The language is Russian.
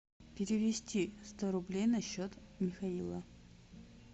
перевести сто рублей на счет михаила